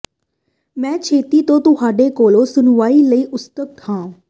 ਮੈਂ ਛੇਤੀ ਤੋਂ ਤੁਹਾਡੇ ਕੋਲੋਂ ਸੁਣਵਾਈ ਲਈ ਉਤਸੁਕ ਹਾਂ